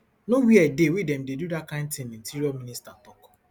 no wia dey wey dem dey do dat kain tin interior minister tok